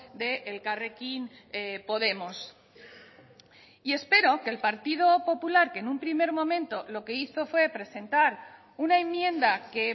de elkarrekin podemos y espero que el partido popular que en un primer momento lo que hizo fue presentar una enmienda que